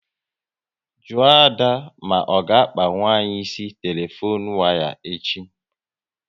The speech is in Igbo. Jụọ Ada ma ọ ga akpanwu anyị ịsị telefone waya echi